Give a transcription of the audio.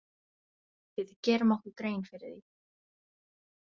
Við gerum okkur grein fyrir því.